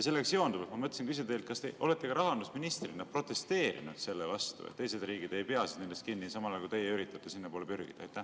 Sellega seonduvalt ma mõtlesin küsida teilt: kas te olete ka rahandusministrina protesteerinud selle vastu, et teised riigid ei pea nendest kinni, samal ajal kui teie üritate sinnapoole pürgida?